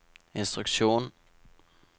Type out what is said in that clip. instruksjon